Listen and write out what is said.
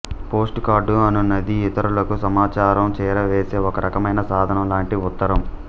postcard అనునది ఇతరులకు సమాచారం చేరవేసే ఒక రకమైన సాధనం లాంటి ఉత్తరం